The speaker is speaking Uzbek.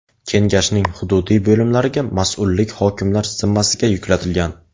Kengashning hududiy bo‘limlariga mas’ullik hokimlar zimmasiga yuklatilgan.